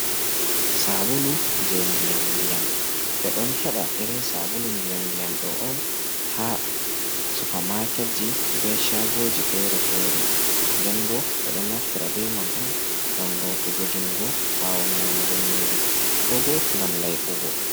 Sabulu je ndiyam ndiyam ɓe ɗon heɓa irin sabulu ndiyam ndiyam ɗo on ha Supa maket ji be chagoji fere-fere, nden bo be ɗon naftira be man on ngam lotugo jungo bawo nyamugo nyiri ko bo ngam laiɓugo.